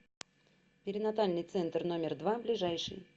перинатальный центр номер два ближайший